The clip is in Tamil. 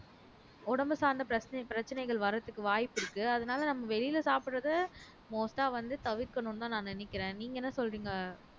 உடம்பு சார்ந்த பிரச்ச பிரச்சனைகள் வர்றதுக்கு வாய்ப்பு இருக்கு அதனால நம்ம வெளியில சாப்பிடறதை most ஆ வந்து தவிர்க்கணும்ன்னுதான் நான் நினைக்கிறேன் நீங்க என்ன சொல்றீங்க